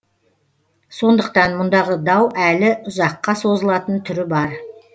сондықтан мұндағы дау әлі ұзаққа созылатын түрі бар